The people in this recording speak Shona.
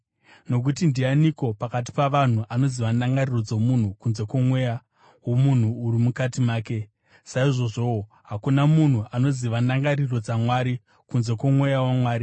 Nokuti ndianiko pakati pavanhu anoziva ndangariro dzomunhu kunze kwomweya womunhu uri mukati make? Saizvozvowo hakuna munhu anoziva ndangariro dzaMwari kunze kwoMweya waMwari.